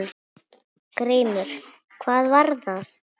GRÍMUR: Hvað var það?